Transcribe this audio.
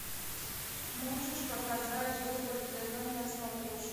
можешь показать рубль тв на смотрешке